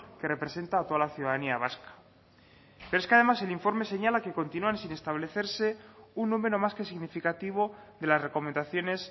que representa a toda la ciudadanía vasca pero es que además el informe señala que continúan sin establecerse un número más que significativo de las recomendaciones